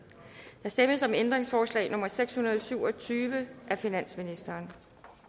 der stemmes om ændringsforslag nummer seks hundrede og syv og tyve af finansministeren